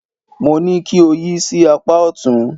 Mo ní kí o yí sí apá ọ̀tún.